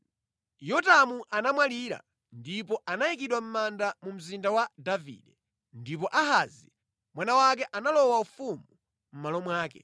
Yotamu anamwalira ndipo anayikidwa mʼmanda mu Mzinda wa Davide. Ndipo Ahazi mwana wake analowa ufumu mʼmalo mwake.